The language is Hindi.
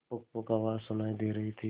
पुकपुक आवाज सुनाई दे रही थी